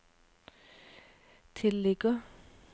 tilligger